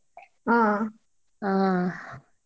ಹಾ ಹಾ.